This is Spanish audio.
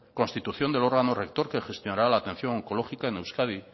constitución del órgano rector que gestionará la atención oncológica en euskadi